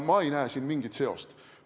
Ma ei näe siin mingit seost.